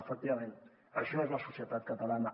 efectivament això és la societat catalana